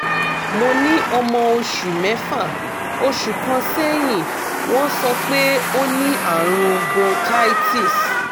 mo ní ọmọ oṣù mẹ́fà oṣù kan sẹ́yìn wọ́n sọ pé ó ní àrùn bronchitis